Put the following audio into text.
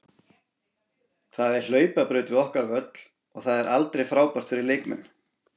Það er hlaupabraut við okkar völl og það er aldrei frábært fyrir leikmenn.